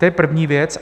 To je první věc.